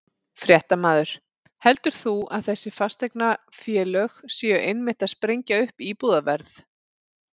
Fréttamaður: Heldur þú að þessi fasteignafélög séu einmitt að sprengja upp íbúðaverð?